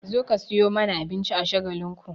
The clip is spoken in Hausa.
Zo ka sayo mana abinci a Shagalinku!